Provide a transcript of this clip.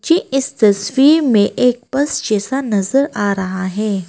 मुझे इस तस्वीर में एक बस जैसा नजर आ रहा है।